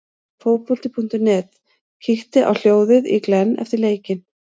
Fótbolti.net kíkti á hljóðið í Glenn eftir leikinn.